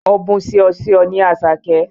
Ọ̀bùn ṣìọṣìọ ni Àṣàké.